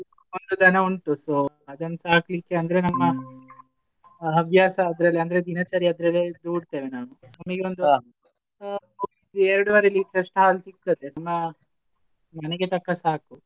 ಒಂದು ದನ ಉಂಟು. So ಅದನ್ ಸಾಕ್ಲಿಕ್ಕೆ ಅಂದ್ರೆ ನಮ್ಮ ಹವ್ಯಾಸ ಅದ್ರಲ್ಲಿ ಅಂದ್ರೆ ದಿನಚರಿ ಅದ್ರಲ್ಲೇ ದೂಡ್ತೇವೆ ನಾವು ಎರಡುವರೆಸಾ litre ಅಷ್ಟು ಹಾಲು ಸಿಗ್ತದೆ ಮನೆಗೆ ತಕ್ಕ ಸಾಕು.